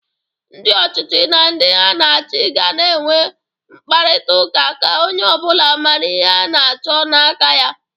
Ndị ọchịchị na ndị ha na-achị ga na-enwe nkparịtaụka ka onye ọbụla mara ihe ana-achọ n'aka ya.